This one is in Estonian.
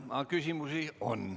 Teile on ka küsimusi.